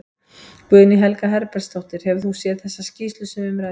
Guðný Helga Herbertsdóttir: Hefur þú séð þessa skýrslu sem um ræðir?